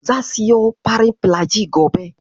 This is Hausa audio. Zan siyo farin filajil gobe.